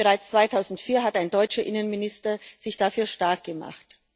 Bereits 2004 hat ein deutscher Innenminister sich dafür stark gemacht.